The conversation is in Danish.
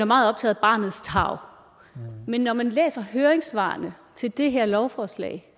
meget optaget af barnets tarv men når man læser høringssvarene til det her lovforslag